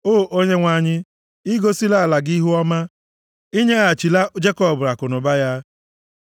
O Onyenwe anyị, i gosila ala gị ihuọma; i nyeghachila Jekọb akụnụba ya.